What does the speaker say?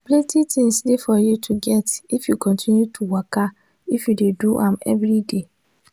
plenty things dey for you to get if you continue to waka if you dey do am everyday.